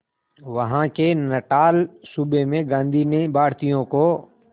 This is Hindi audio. वहां के नटाल सूबे में गांधी ने भारतीयों को